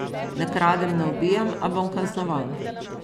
Ne kradem ne ubijam, a bom kaznovan.